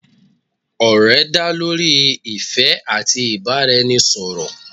òrè dá lorí ìfé ati ibaraẹnisọrọ